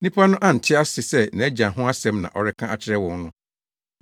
Nnipa no ante no ase sɛ nʼagya ho asɛm na ɔreka akyerɛ wɔn no.